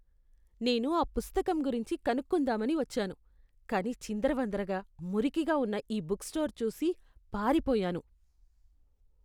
నేను ఆ పుస్తకం గురించి కనుక్కుందామని వచ్చాను కానీ చిందరవందరగా, మురికిగా ఉన్న ఈ బుక్ స్టోర్ చూసి పారిపోయాను.